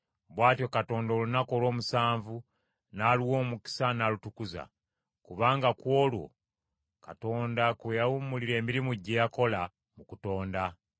Bw’atyo Katonda olunaku olw’omusanvu n’aluwa omukisa n’alutukuza; kubanga ku olwo Katonda kwe yawummulira emirimu gye yakola mu kutonda.